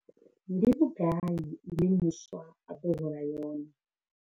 Ndi vhugai ine muswa a ḓo hola yone?